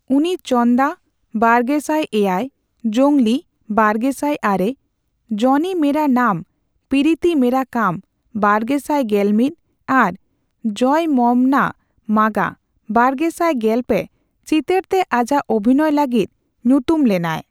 ᱩᱱᱤ ᱪᱚᱱᱫᱟ ( ᱵᱟᱨᱜᱮᱥᱟᱭ ᱮᱭᱟᱭ ), ᱡᱚᱝᱜᱞᱤ ( ᱵᱟᱨᱜᱮᱥᱟᱭ ᱟᱨᱮ ), ᱡᱚᱱᱤ ᱢᱮᱨᱟ ᱱᱟᱢ ᱯᱤᱨᱤᱛᱤ ᱢᱮᱨᱟ ᱠᱟᱢ ( ᱵᱟᱨᱜᱮᱥᱟᱭ ᱜᱮᱞ ᱢᱤᱛ ) ᱟᱨ ᱡᱚᱭᱚᱢᱚᱢᱱᱟ ᱢᱟᱜᱟ (ᱵᱟᱨᱜᱮᱥᱟᱭ ᱜᱮᱞ ᱯᱮ ) ᱪᱤᱛᱟᱹᱨᱛᱮ ᱟᱡᱟᱜ ᱚᱵᱷᱤᱱᱚᱭ ᱞᱟᱹᱜᱤᱫ ᱧᱩᱛᱩᱢ ᱞᱮᱱᱟᱭ ᱾